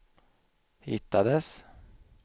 hittades